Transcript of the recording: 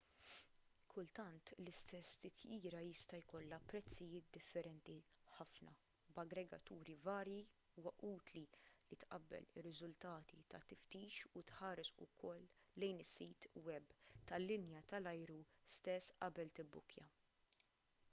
kultant l-istess titjira jista' jkollha prezzijiet differenti ħafna f'aggregaturi varji u huwa utli li tqabbel ir-riżultati tat-tiftix u tħares ukoll lejn is-sit web tal-linja tal-ajru stess qabel tibbukkja